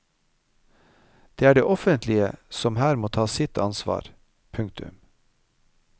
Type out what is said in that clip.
Det er det offentlige som her må ta sitt ansvar. punktum